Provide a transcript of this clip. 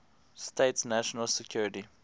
states national security